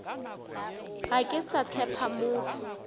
ga ke sa tshepa motho